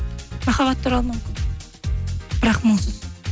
махаббат туралы мүмкін бірақ мұңсыз